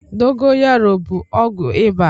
Dogoyaro bụ ọgwụ ịba.